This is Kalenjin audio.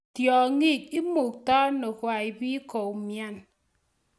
Tyang'ik imuktano kwai bii koumnyan.